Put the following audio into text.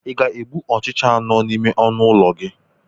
Ị ga-egbu ọchịcha ahụ nọ n'ime ọnụ ụlọ gị?